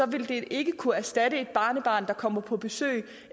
vil de ikke kunne erstatte et barnebarn der kommer på besøg